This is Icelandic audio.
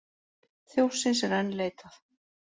Þjófsins er enn leitað